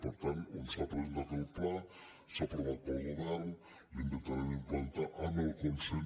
per tant on s’ha presentat el pla s’ha aprovat pel govern l’intentarem implantar amb el consens